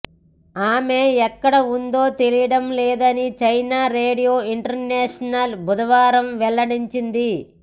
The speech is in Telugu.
అమె ఎక్కడ ఉందో తెలియడం లేదని చైనా రేడియో ఇంటర్నేషనల్ బుధవారం వెల్లడించింది